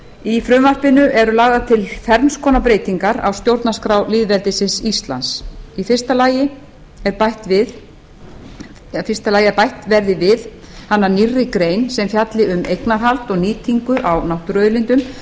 í frumvarpinu eru lagðar til ferns konar breytingar á stjórnarskrá lýðveldisins íslands í fyrsta lagi að bætt verði við hana nýrri grein sem fjalli um eignarhald og nýtingu á náttúruauðlindum